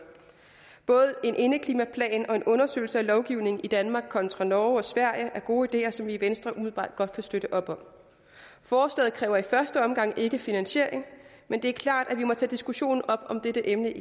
både en indeklimaplan og en undersøgelse af lovgivningen i danmark kontra norge og sverige er gode ideer som vi i venstre umiddelbart godt kan støtte forslaget kræver i første omgang ikke finansiering men det er klart at vi må tage diskussionen om dette emne